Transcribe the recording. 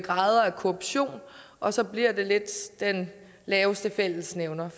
korruption og så bliver det lidt den laveste fællesnævner